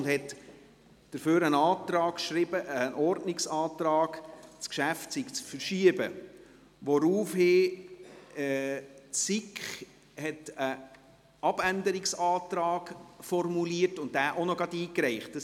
Dafür hat er einen Ordnungsantrag geschrieben, das Geschäft sei zu verschieben, woraufhin die SiK einen Abänderungsantrag formulierte und diesen auch gleich noch einreichte.